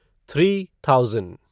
three thousand